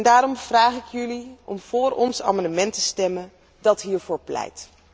Daarom vraag ik jullie om vóór ons amendement te stemmen dat hiervoor pleit.